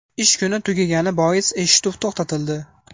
Ish kuni tugagani bois eshituv to‘xtatildi.